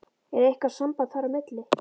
Er eitthvað samband þar á milli?